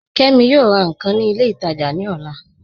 Kẹmi yọọ rà nkan ni ilẹ̀ itaajà ni ọ̀là